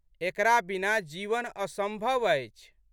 एकरा बिना जीवन असंभव अछि।